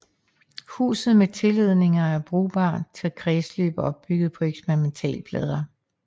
Huset med tilledninger er brugbart til kredsløb opbygget på eksperimentalplader